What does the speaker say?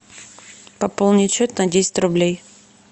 пополнить счет на десять рублей